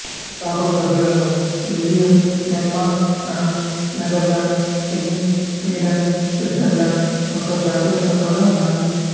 స్థాపక సభ్యులలో Belgium Denmark France Netherlands Spain Sweden Switzerland యొక్క జాతీయ సంఘాలు ఉన్నాయి